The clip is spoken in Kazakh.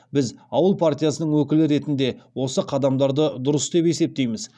біз ауыл партиясының өкілі ретінде осы қадамдарды дұрыс деп есептейміз